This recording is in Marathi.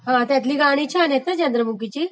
हा त्यातली गाणी छान आहेत ना चंद्रमुखीची